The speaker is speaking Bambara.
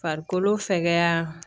Farikolo fɛgɛya